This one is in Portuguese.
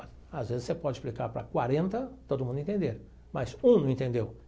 Às vezes você pode explicar para quarenta e todo mundo entender, mas um não entendeu.